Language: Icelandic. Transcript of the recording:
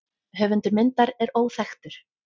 Höfundur myndar er óþekktur.